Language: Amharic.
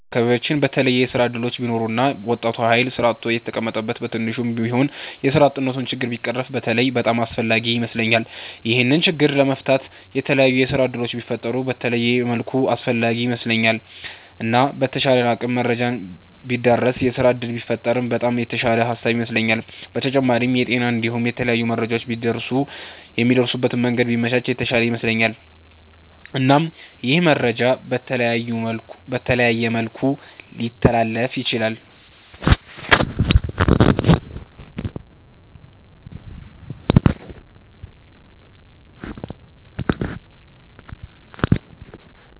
በአከባቢያቺን በተለየ የስራ እድሎች ቢኖሩ እና ወጣቱ ሀይል ስራ አጥቶ የተቀመጠዉ በትንሹም ቢሆን የስራ አጥነቱ ችግር ቢቀረፍ በተለይ በጣም አስፍላጊ ይመስለኛል። ይሄንን ችግር ለመፍታት የተላያዩ የስራ እድሎች ቢፈጠሩ በተለየ መልኩ አስፈላጊ ይመስለኛል። እና በተቻለ አቅም መረጃ ቢዳረስ የስራ እድል ቢፈጠር በጣም የተሻለ ሃሳብ ይመስለኛል። በተጫማሪም የጤና እንዲሁም የተለያዩ መረጃዎች ቢደርሱ የሚደርሱበት መንገድ ቢመቻች የተሻለ ይመስለኛል። እናም ይህ መረጃ በተለያየ መልኩ ሊተላለፍ ይችላል።